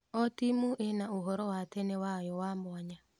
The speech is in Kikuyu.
O timu ĩna ũhoro wa tene wayo wa mwanya.